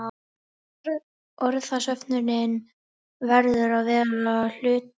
Orðasöfnunin verður að vera hlutlaus.